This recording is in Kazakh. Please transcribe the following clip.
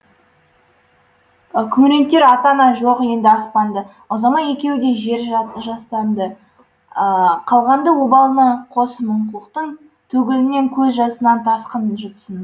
күңірентер ата ана жоқ енді аспанды ұзамай екеуі де жер жастанды қалғанды обалына қос мұңлықтың төгілген көз жасынан тасқын жұтсын